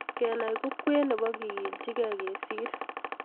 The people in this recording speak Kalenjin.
Kenai ko kwen nebo kekilchigeiang kesir